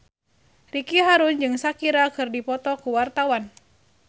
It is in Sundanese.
Ricky Harun jeung Shakira keur dipoto ku wartawan